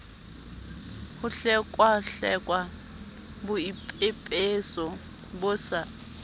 ho hlekwahlekwa boipepeso bo sa